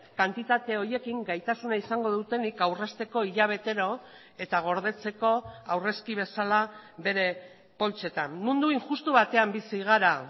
kantitate horiekin gaitasuna izango dutenik aurrezteko hilabetero eta gordetzeko aurrezki bezala bere poltsetan mundu injustu batean bizi gara